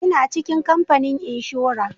Ina cikin kamfanin inshora